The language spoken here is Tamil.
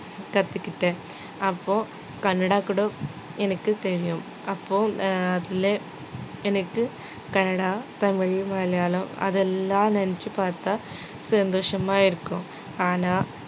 கத்துக்கிட்டேன் அப்போ கன்னடம் கூட எனக்குத் தெரியும் அப்போ ஆஹ் அதிலே எனக்கு கன்னடம், தமிழ், மலையாளம் அதெல்லாம் நெனைச்சுப் பாத்தா சந்தோஷமா இருக்கும் ஆனா